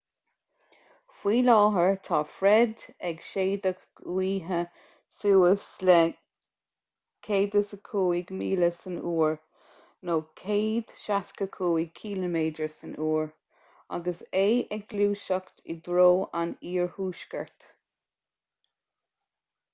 faoi láthair tá fred ag séideadh gaoithe suas le 105 míle san uair 165 km/h agus é ag gluaiseacht i dtreo an iarthuaiscirt